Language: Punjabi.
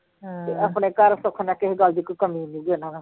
ਤੇ ਆਪਣੇ ਘਰ ਸੁੱਖ ਨਾ ਕਿਹਸੇ ਗੱਲ ਦੀ ਕੋਈ ਕਮੀ ਨੀ ਗੀ ਉਹਨਾਂ ਨਾਲੋਂ